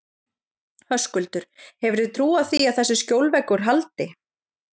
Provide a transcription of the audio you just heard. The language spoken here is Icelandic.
Höskuldur: Hefurðu trú á því að þessi skjólveggur haldi?